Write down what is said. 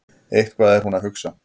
Eitthvað er hún að hugsa.